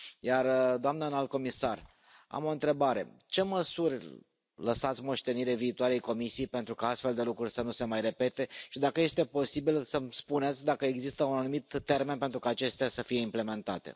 Iar, doamnă înalt comisar, am o întrebare ce măsuri lăsați moștenire viitoarei comisii pentru ca astfel de lucruri să nu se mai repete și, dacă este posibil, să mi spuneți dacă există un anumit termen pentru ca acestea să fie implementate.